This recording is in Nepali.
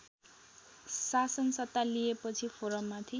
शासनसत्ता लिएपछि फोरममाथि